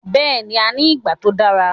Bẹ́ẹ̀ni, a ní ìgbà tó dára